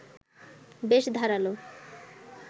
বেশ ধারালো